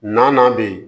Na bɛ yen